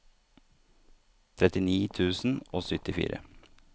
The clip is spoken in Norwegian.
trettini tusen og syttifire